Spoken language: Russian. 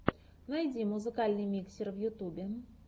найди музыкальный миксер в ютубе